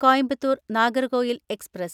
Coimbatore‍ Nagercoil express